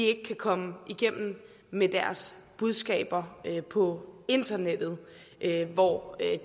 ikke kan komme igennem med deres budskaber på internettet hvor